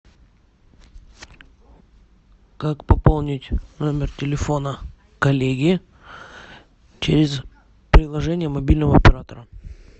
как пополнить номер телефона коллеги через приложение мобильного оператора